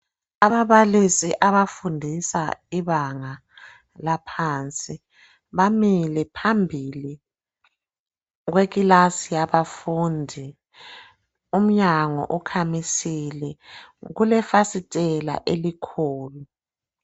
Ababalisi abafundisa ibanga laphansi. Bamile phambili kwekilasi yabafundi. Umnyango ukhamisile. Kulefasitela elikhulu.